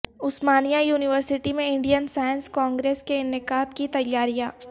عثمانیہ University میں Indian Science Congress کے انعقاد کی تیاریاں